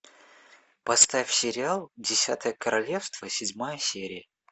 поставь сериал десятое королевство седьмая серия